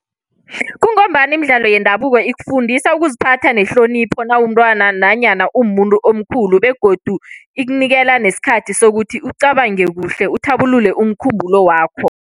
Kungombana imidlalo yendabuko ikufundisa ukuziphatha nehlonipho nawumntwana, nanyana umuntu omkhulu. Begodu ikunikela nesikhathi sokuthi ukucabanga kuhle, uthabulule umkhumbulo wakho.